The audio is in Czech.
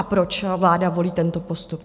A proč vláda volí tento postup?